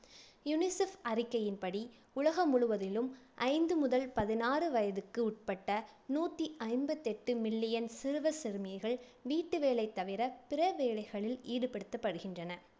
unicef அறிக்கையின்படி உலகம் முழுவதிலும் ஐந்து முதல் பதினாறு வயதுக்குட்பட்ட, நூத்தி ஐம்பத்தி எட்டு million சிறுவர், சிறுமிகள் வீட்டு வேலைத் தவிர பிற வேலைகளில் ஈடுபடுத்தப்படுகின்றனர்.